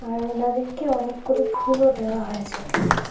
আর ওনাদেরকে অনেকগুলো ফুলও দেওয়া হয়েছে।